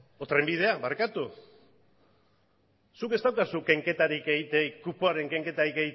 edo trenbidea barkatu zuk ez daukazu kenketarik egiterik kupoaren kenketarik